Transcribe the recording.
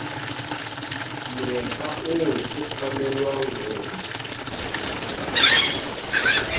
moepa oo ke tshwanelwang ho